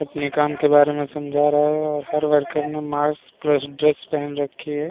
अपने काम के बारे में समझा रहा है और हर वर्कर ने मास्क प्लस ड्रेस पहन रखी है।